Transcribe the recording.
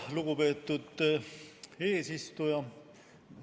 Lugupeetud eesistuja!